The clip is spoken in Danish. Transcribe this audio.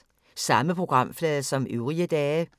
Samme programflade som øvrige dage